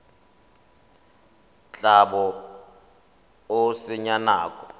tla bo o senya nako